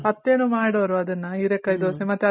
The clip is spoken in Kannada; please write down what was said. ಅತ್ತೇನು ಮಾಡೋರು ಅದುನ್ನ ಹೀರೇಕಾಯಿ ದೋಸೆ ಮತ್ತೆ ಅದೇ ರೀತಿ